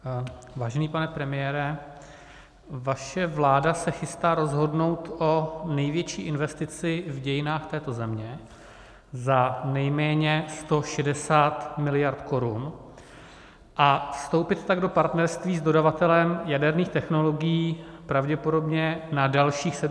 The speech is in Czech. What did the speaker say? Vážený pane premiére, vaše vláda se chystá rozhodnout o největší investici v dějinách této země za nejméně 160 miliard korun, a vstoupit tak do partnerství s dodavatelem jaderných technologií pravděpodobně na dalších 70 let.